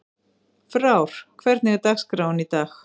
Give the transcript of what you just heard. Frár, hvernig er dagskráin í dag?